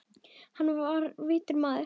Hann var vitur maður.